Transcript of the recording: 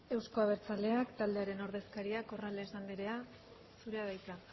euzko abertzaleak taldearen ordezkaria corrales anderea zurea da hitza